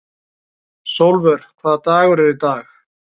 Sólvör, hvaða dagur er í dag?